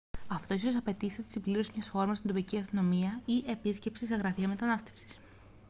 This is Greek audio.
αυτό ίσως απαιτήσει τη συμπλήρωση μιας φόρμας στην τοπική αστυνομία ή επίσκεψη σε γραφεία μετανάστευσης